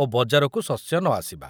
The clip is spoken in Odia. ଓ ବଜାରକୁ ଶସ୍ୟ ନଆସିବା।